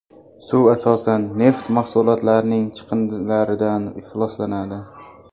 Suv asosan neft mahsulotlarining chiqindilaridan ifloslanadi.